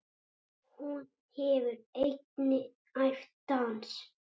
Hún hefur einnig æft dans.